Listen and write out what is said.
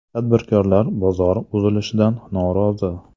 Tadbirkorlar bozor buzilishidan norozi .